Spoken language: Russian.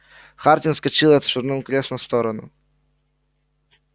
хардин вскочил и отшвырнул кресло в сторону